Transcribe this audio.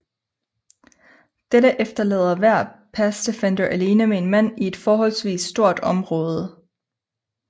Dette efterlader hver pass defender alene med en mand i et forholdsvis stort område